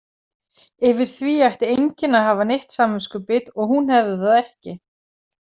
Yfir því ætti enginn að hafa neitt samviskubit og hún hefði það ekki.